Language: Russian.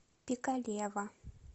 пикалево